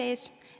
Aitäh!